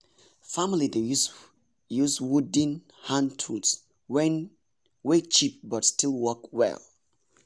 family dey use wooden use wooden hand tools wey cheap but still work well.